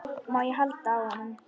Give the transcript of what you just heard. Má ég halda á honum?